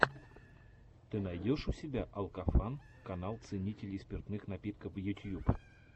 ты найдешь у себя алкофан канал ценителей спиртных напитков ютьюб